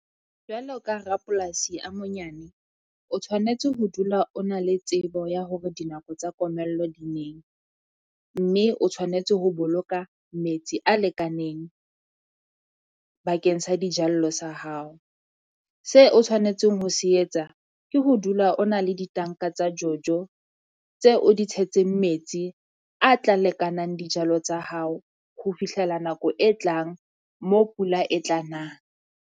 Jwalo ka rapolasi a monyane, o tshwanetse ho dula o na le tsebo ya hore dinako tsa komello di neng, mme o tshwanetse ho boloka metsi a lekaneng bakeng sa dijallo sa hao. Se o tshwanetseng ho se etsa ke ho dula o na le ditanka tsa Jojo tse o di tshetseng metsi a tla lekanang dijalo tsa hao ho fihlela nako e tlang mo pula e tla nang.